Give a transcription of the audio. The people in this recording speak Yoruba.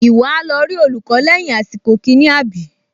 Ìwọ á lọ rí olùkọ́ lẹ́yìn àsìkò kìíní, àbí?